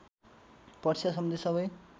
परीक्षा सम्बन्धी सबै